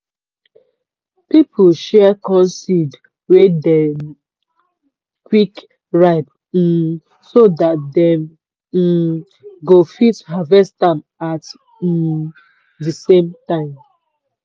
people share corn seed wey dey quick ripe um so dat dem um go fit harvest am at um di same time.